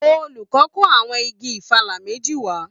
Olùkọ́ kó àwọn igi ìfàlà méjì wá